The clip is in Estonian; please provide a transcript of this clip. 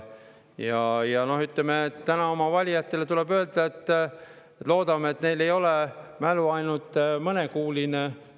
Täna tuleb oma valijatele öelda, et loodame, et neil ei ole mälu ainult mõnekuuline.